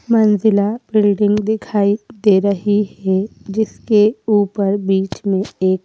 मंजिला बिल्डिंग दिखाई दे रही है जिसके ऊपर बीच में एक--